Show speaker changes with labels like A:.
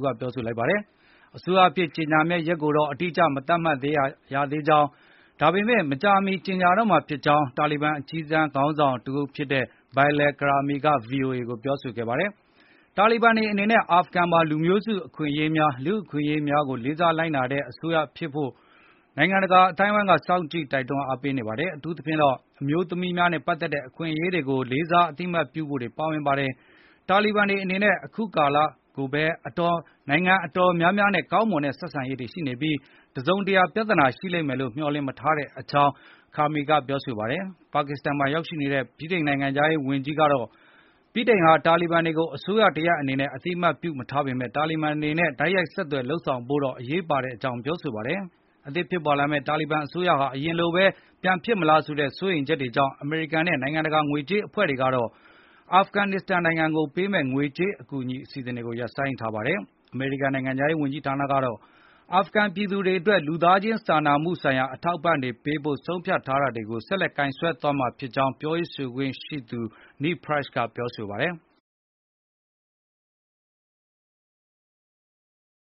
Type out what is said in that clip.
A: က ပြောကြားလိုက်ပါတယ်။ အစိုးရအဖြစ်ကြေညာမယ့်ရက်ကိုတော့ အတိအကျမသတ်မှတ်ရသေးကြောင်း၊ ဒါပေမယ့် မကြာမီကြေငြာတော့မှာဖြစ်ကြောင်း တာလီဘန် အကြီးတန်းခေါင်းဆောင်တဦးဖြစ်တဲ့ Bilal Karmi က ဗွီအိုအေကို ပြောဆိုခဲ့ပါတယ်။ တာလီဘန်တွေအနေနဲ့ အာဖကန်မှာ လူမျိုးစုအခွင့်အရေးများ၊ လူ့အခွင့်အရေးများကို လေးစားလိုက်နာတဲ့အစိုးရမျိုးဖြစ်ဖို့ကို နိုင်ငံတကာအသိုင်းအဝိုင်းက စောင့်ကြည့်တွန်းအားပေးနေတာပါ။ အထူးသဖြင့်တော့အမျိုးသမီးများနဲ့ပတ်သက်တဲ့အခွင့်အရေးတွေကို လေးစားအသိအမှတ်ပြုဖို့တွေပါဝင်ပါတယ်။ တာလီဘန်တွေအနေနဲ့ အခုကာလမှာကိုဘဲ နိုင်ငံအတော်များများနဲ့ကောင်းမွန်တဲ့ဆက်ဆံရေးတွေရှိနေပြီး၊ တစုံတရာ ပြသာနာရှိမယ်လို့ မျှော်လင့်မထားဘူးလို့လည်း Karmi ကပြောပါတယ်။ ပါကစ္စတန်မှာရောက်ရှိနေတဲ့ ဗြိတိန်နိုင်ငံခြားရေးဝန်ကြီး Dominic Raab ကတော့ ဗြိတိန်ဟာ တာလီဘန်တွေကို အစိုးရ တရပ်အနေနဲ့ အသိမှတ်ပြုမထားပေမယ့် တာလီဘန်တွေနဲ့ တိုက်ရိုက်ဆက်သွယ် လုပ်ဆောင်ဖို့ တော့ အရေးပါကြောင်း ပြောပါတယ်။ အသစ် ပေါ်လာမယ့်တာလီဘန်အစိုးရဟာ အရင်လိုဘဲပြန်ဖြစ်လာမလားဆိုတဲ့စိုးရိမ်ချက်တွေကြောင့် အမေရိကန် နဲ့ နိုင်ငံတကာ ငွေကြေးအဖွဲ့တွေကတော့ အာဖကန်နစ္စတန်နိုင်ငံကို ပေးမယ့်ငွေကြေးအကူအညီအစီအစဉ်တွေကို ရပ်ဆိုင်ထားပါတယ်။ အမေရိကန်နိုင်ငံခြားရေးဝန်ကြီးဌာနကတော့ အာဖကန်ပြည်သူတွေအတွက် လူသားခြင်းစာနာမှုဆိုင်ရာ အထောက်ပံ့တွေပေးဖို့ ဆုံးဖြတ်ထားတာတွေကိုဆက်လက်ကိုင်ဆွဲသွားမှာဖြစ်ကြောင်း ပြောရေးဆိုခွင့်ရှိသူ Ned Price ကပြောဆိုပါတယ်။